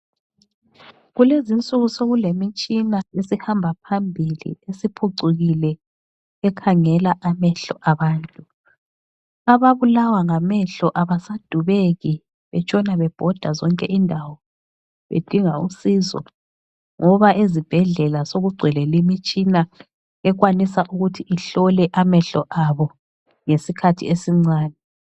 Kulezinsuku sokulemitshina esihamba phambili, esiphucukile, ekhangela amehlo abantu. Ababulawa ngamehlo abasadubeki betshona bebhoda zonke indawo bedinga usizo, ngoba ezibhedlela sokugcwele limitshina ekwanisa ukuthi ihlole amehlo abo ngesikhathi esincane.